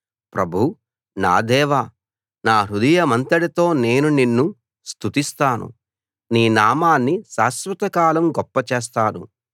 ప్రభూ నా దేవా నా హృదయమంతటితో నేను నిన్ను స్తుతిస్తాను నీ నామాన్ని శాశ్వతకాలం గొప్ప చేస్తాను